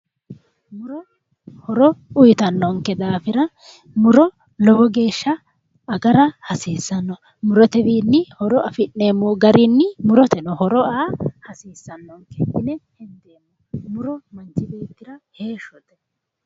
Muro horo uuyittanonke daafira muro lowo geeshsha agara hasiisano ,murotewinni horo affi'neemmo garinni muroteno horo aa hasiisanonke, muro heeshshote